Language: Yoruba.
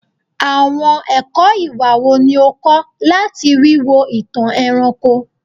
Awọn ẹkọ iwa wo ni o kọ lati wiwo itan ẹranko?